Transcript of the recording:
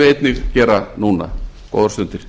einnig gera núna góðar stundir